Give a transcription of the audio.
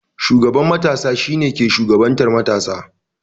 Shugaban matasa shi ne ke shugabantan matasa.